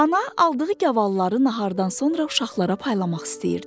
Ana aldığı gavalları nahardan sonra uşaqlara paylamaq istəyirdi.